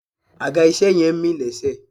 Àga ìṣe yẹn ń mì lésẹ̀